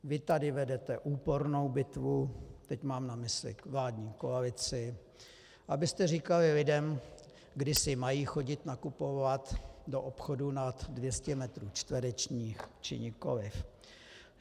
Vy tady vedete úpornou bitvu, teď mám na mysli vládní koalici, abyste říkali lidem, kdy si mají chodit nakupovat do obchodů nad 200 metrů čtverečních, či nikoliv.